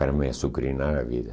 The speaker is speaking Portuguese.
Para me azucrinar na vida.